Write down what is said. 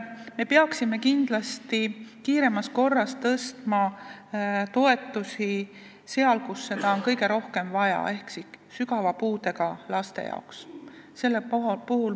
Me peaksime kindlasti kiiremas korras tõstma toetusi neil, kellel on seda kõige rohkem vaja, ehk sügava puudega laste toetusi.